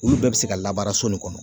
Olu bɛɛ bɛ se ka labaara so nin kɔnɔ